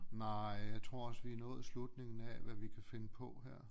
Nej jeg tror også vi er nået slutningen af hvad vi kan finde på her